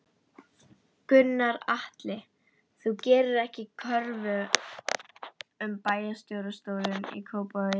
Gunnar Atli: Þú gerðir ekki kröfu um bæjarstjórastólinn í Kópavogi?